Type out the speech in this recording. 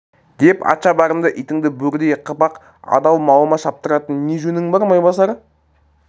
деп атшабарыңды итіңді бөрідей қып ақ адал малыма шаптыратын не жөнің бар майбасар